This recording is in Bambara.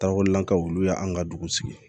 Dakolan ka wuli olu y'an ka dugu sigi